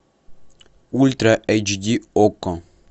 ультра эйч ди окко